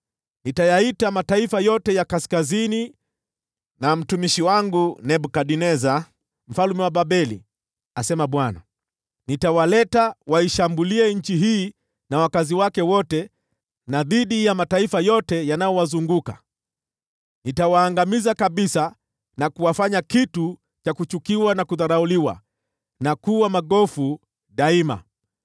nitayaita mataifa yote ya kaskazini na mtumishi wangu Nebukadneza mfalme wa Babeli,” asema Bwana . “Nitawaleta waishambulie nchi hii na wakazi wake wote, na dhidi ya mataifa yote yanayowazunguka. Nitawaangamiza kabisa na kuwafanya kitu cha kuchukiwa na kudharauliwa, na kuwa magofu daima.